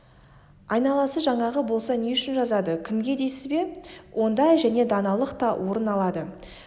айналасы жаңағы болса не үшін жазады кімге дейсіз бе онда және даналық та орын алады сіз